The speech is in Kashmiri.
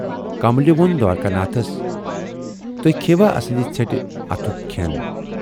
کملہِ وون دوارِکا ناتھس"تُہۍ کھییہِ وا اَسٕندِ ژھیٹہِ اَتھُک کھٮ۪ن؟